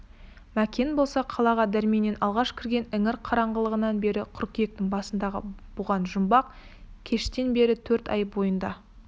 мәкен болса қалаға дәрменмен алғаш кірген іңір қараңғылығынан бері қыркүйектің басындағы бұған жұмбақ кештен бері төрт ай бойында